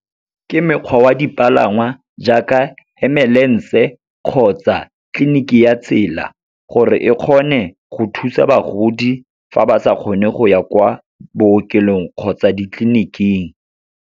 Ke mekgwa wa dipalangwa jaaka ambulance-e kgotsa tleliniki ya tsela, gore e kgone go thusa bagodi fa ba sa kgone go ya kwa bookelong kgotsa ditleniking.